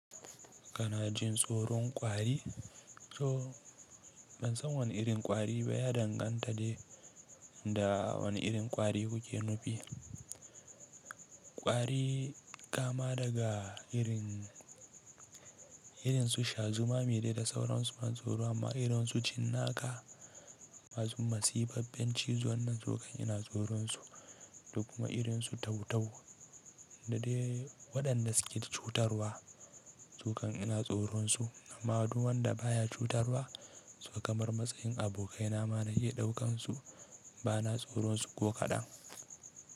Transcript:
Kana jin tsoron kwari? To ban san wane irin kwari ba ya danganta da wane irin kwari kuke nufi! Kwari kama daga irin, irin su shazuma ma dai da sauransu suna da ban tsoro amma irin su cinnaka masu masifaffen cizo nan sukan ina tsoron su, da kuma ma irin su tau-tau da dai waɗanda suke cutarwa sukan ina tsoron su, amma du wanda baya cutarwa su kamar matsayin abokaina ma na ke ɗaukan su bana tsoron su ko kaɗan.